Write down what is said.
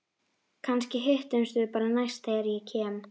Kannski hittumst við bara næst þegar ég kem.